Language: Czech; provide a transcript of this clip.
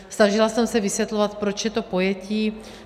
Snažila jsem se vysvětlovat, proč je to pojetí.